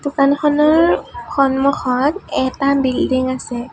দোকানখনৰ সন্মুখত এটা বিল্ডিং আছে।